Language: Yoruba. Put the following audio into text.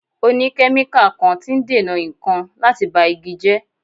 O ní kẹ́míkà kan tí ń dènà ìkan láti ba igi jẹ́.